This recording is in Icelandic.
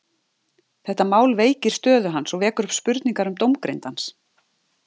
Þetta mál veikir stöðu hans og vekur upp spurningar um dómgreind hans.